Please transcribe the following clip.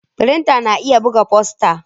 Firinta na iya buga fosta.